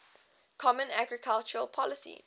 common agricultural policy